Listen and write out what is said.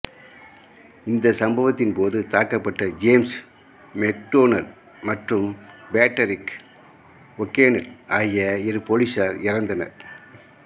இந்த சம்பவத்தின் போது தாக்கபட்ட ஜேம்ஸ் மெக்டோனல் மற்றும் பேட்ரிக் ஓகோனெல் ஆகிய இரு போலீசார் இறந்தனர்